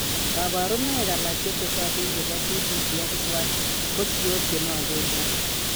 Kabarunaik alak chetesatin chebo CDPX1 ko siok chenwgen ak